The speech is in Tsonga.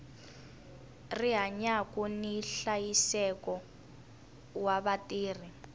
rihanyu ni nhlayiseko wa vatirhi